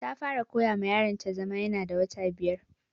Ta fara koya ma yaron ta zama ya na da wata biyar